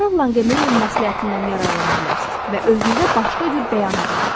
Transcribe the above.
Lorel Lanqemeyərin məsləhətindən yararlana bilərsiz və özünüzə başqa cür bəyan edin.